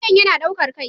Wuyan yana ɗaukar kai